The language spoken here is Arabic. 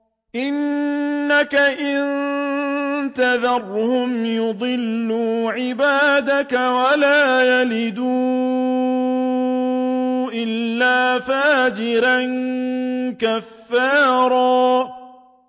إِنَّكَ إِن تَذَرْهُمْ يُضِلُّوا عِبَادَكَ وَلَا يَلِدُوا إِلَّا فَاجِرًا كَفَّارًا